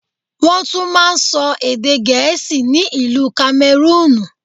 Wọ́n tún máa ń sọ èdè Gẹ̀ẹ́sì ni ìlú Kamẹrúùnù.